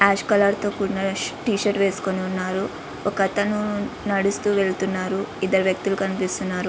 Ash colour తో కూడిన T shirt వేసికొని ఉన్నారు. ఒక అతను నడువస్తూ వెళ్తూన్నారు ఇద్దరు వ్వక్తులు కనిపిస్తున్నారు.